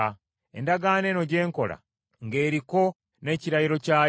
Endagaano eno gye nkola, ng’eriko n’ekirayiro kyayo,